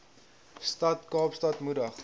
stad kaapstad moedig